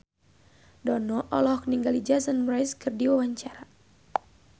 Dono olohok ningali Jason Mraz keur diwawancara